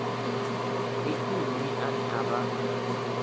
ndi nnyi ane a vha